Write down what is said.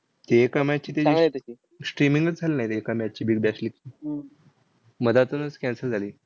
ते एका match ची त्याची streaming च झाली नाही एका match ची big bash league. मधातच cancel झाली.